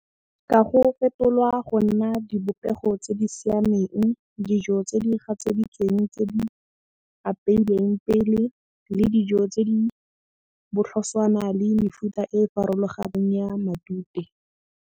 Ka go fetolwa go nna dibopego tse di siameng, dijo tse di gatseditsweng tse di apeilweng pele le dijo tse di botlhoswana le mefuta e farologaneng ya matute.